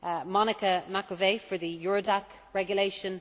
Monica Macovei for the Eurodac Regulation